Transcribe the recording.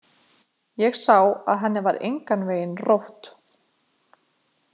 Ég sá að henni var engan veginn rótt.